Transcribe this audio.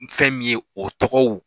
Ni fɛn min ye o tɔgɔw